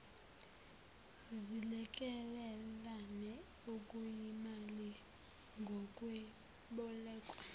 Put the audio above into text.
zilekelelane okuyimali yokwebolekwa